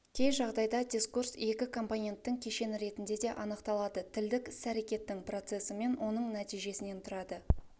кей жағдайда дискурс екі компоненттің кешені ретінде де анықталады тілдік іс-әрекеттің процесі мен оның нәтижесінен тұрады